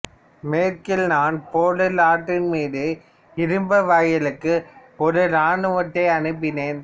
மேற்கில் நான் பேர்ல் ஆற்றின் மீது இரும்பு வாயிலுக்கு ஒரு இராணுவத்தை அனுப்பினேன்